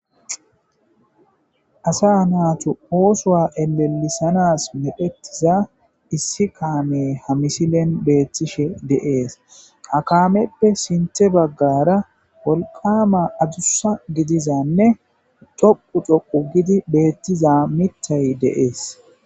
asa naatu oosowa elelisanas medhetiza issi kaame ha misilen beettishe deees akameppe sinte baggara wolqama adussa gidizanne toqu toqu gidi beettiza mittay deees